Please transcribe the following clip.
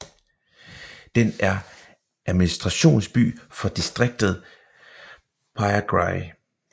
Den er administrationsby for distriktet Prayagraj